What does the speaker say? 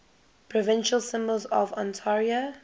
provincial symbols of ontario